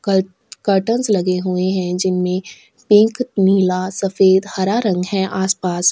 कल कर्टेन लगे हुए है जिनमें पिंक नीला सफ़ेद हरा रंग है आस पास--